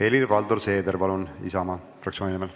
Helir-Valdor Seeder Isamaa fraktsiooni nimel,